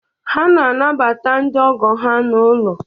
Ha na-anabata ndị Ogo ha n'ụlọ